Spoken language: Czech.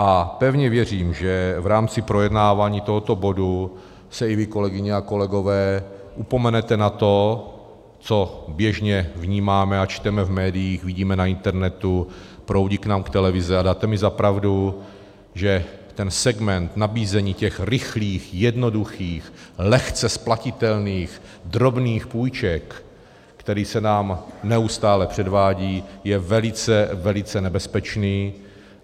A pevně věřím, že v rámci projednávání tohoto bodu se i vy, kolegyně a kolegové, upomenete na to, co běžně vnímáme a čteme v médiích, vidíme na internetu, proudí k nám televize, a dáte mi za pravdu, že ten segment nabízení těch rychlých, jednoduchých, lehce splatitelných drobných půjček, který se nám neustále předvádí, je velice, velice nebezpečný.